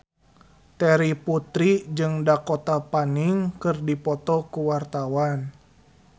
Terry Putri jeung Dakota Fanning keur dipoto ku wartawan